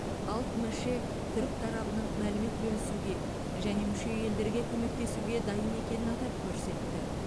алп меше түрік тарабының мәлімет бөлісуге және мүше елдерге көмектесуге дайын екенін атап көрсетті